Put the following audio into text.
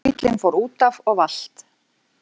Bíllinn fór útaf og valt